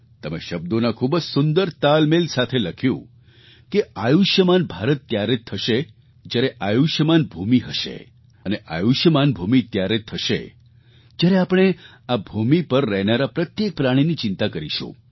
તમે શબ્દોના ખૂબ જ સુંદર તાલમેલ સાથે લખ્યું કે આયુષ્યમાન ભારત ત્યારે જ થશે જ્યારે આયુષ્યમાન ભૂમિ હશે અને આયુષ્યમાન ભૂમિ ત્યારે જ થશે જ્યારે આપણે આ ભૂમિ પર રહેનારાં પ્રત્યેક પ્રાણીની ચિંતા કરીશું